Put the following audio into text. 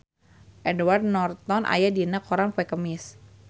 Edward Norton aya dina koran poe Kemis